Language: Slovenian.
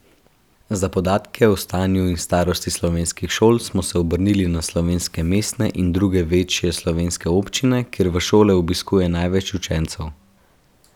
Za podatke o stanju in starosti slovenskih šol smo se obrnili na slovenske mestne in druge večje slovenske občine, kjer v šole obiskuje največ učencev.